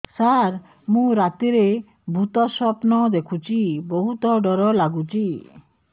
ସାର ମୁ ରାତିରେ ଭୁତ ସ୍ୱପ୍ନ ଦେଖୁଚି ବହୁତ ଡର ଲାଗୁଚି